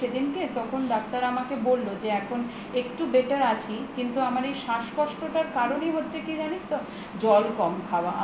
সেদিনকে তো ডাক্তার আমাকে বলল যে এখন একটু better আছি কিন্তু আমার এই শ্বাসকষ্টটার কারনই হচ্ছে কি জানিস তো জল কম খাওয়া